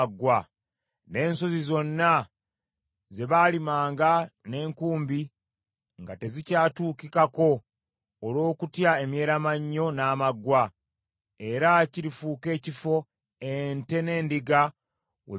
N’ensozi zonna ze baalimanga n’enkumbi nga tezikyatuukikako olw’okutya emyeramannyo n’amaggwa, era kirifuuka ekifo ente n’endiga we byerundira.